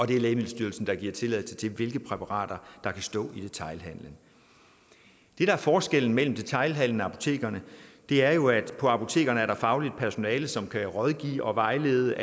det er lægemiddelstyrelsen der giver tilladelse til hvilke præparater der kan stå i detailhandelen forskellen mellem detailhandelen og apotekerne er jo at på apotekerne er der fagligt personale som kan rådgive og vejlede